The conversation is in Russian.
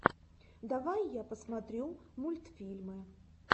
давай я посмотрю мультфильмы